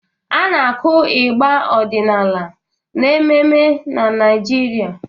Ana akụ ịgbà ọdịnala n'ememme na Naịjirịa.